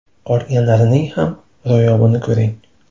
Qolganlarining ham ro‘yobini ko‘ring!